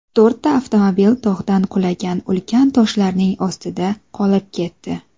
To‘rtta avtomobil tog‘dan qulagan ulkan toshlarning ostida qolib ketdi.